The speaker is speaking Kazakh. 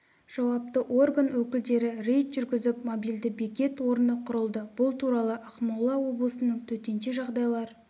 жауапты орган өкілдері рейд жүргізіп мобильді бекет орны құрылды бұл туралы ақмола облысының төтенше жағдайлар